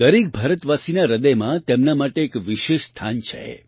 દરેક ભારતવાસીના હૃદયમાં તેમના માટે એક વિશેષ સ્થાન છે